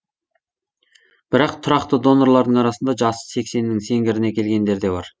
бірақ тұрақты донорлардың арасында жасы сексеннің сеңгіріне келгендері де бар